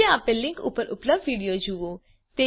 નીચે આપેલ લીંક ઉપર ઉપલબ્ધ વિડિઓ જુઓ